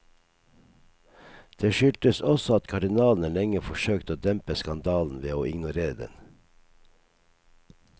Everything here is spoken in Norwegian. Det skyldtes også at kardinalene lenge forsøkte å dempe skandalen ved å ignorere den.